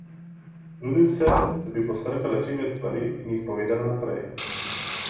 Trudim se, da bi posrkala čim več stvari in jih povedala naprej.